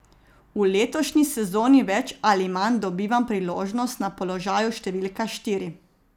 V letošnji sezoni več ali manj dobivam priložnost na položaju številka štiri.